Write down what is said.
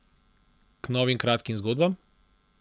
K novim kratkim zgodbam?